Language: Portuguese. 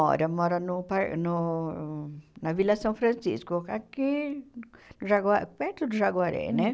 mora no par no na Vila São Francisco, aqui no Jagua perto do Jaguaré, né?